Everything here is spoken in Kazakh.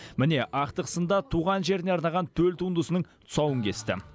міне ақтық сында туған жеріне арнаған төл туындысының тұсауын кесті